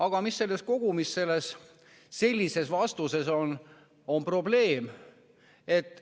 Aga mis on kogumis selliste vastuste probleem?